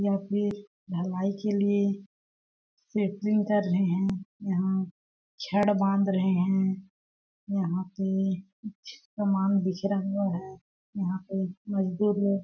या फीर ढलाई के लिए सेटरिंग कर रहे है यहाँ छड़ बांध रहे है यहाँ पे कुछ सामान बिखरा हुआ है यहाँ पे मजदूर--